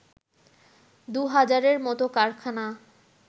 দুহাজারের মত কারখানা